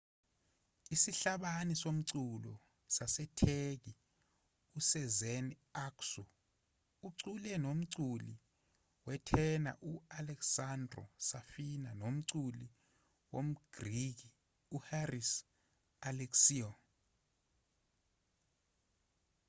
isihlabani somculo sasetheki usezen aksu ucule nomculi wetena u-alessandro safina nomculi womgriki uharis alexiou